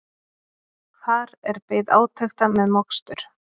Þar er beðið átekta með mokstur